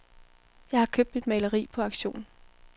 Jeg har købt mit maleri på auktion.